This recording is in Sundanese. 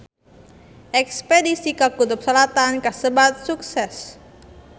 Espedisi ka Kutub Selatan kasebat sukses